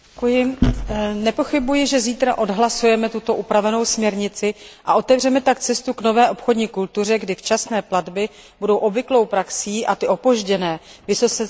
Nepochybuji, že zítra odhlasujeme tuto upravenou směrnici, a otevřeme tak cestu k nové obchodní kultuře, kdy včasné platby budou obvyklou praxí a ty opožděné vysoce sankcionovány.